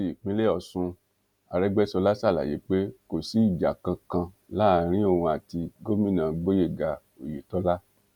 ní ti ìpínlẹ ọṣun àrègbèsọlá ṣàlàyé pé kò sí ìjà kankan láàrin òun àti gomina gboyega oyetola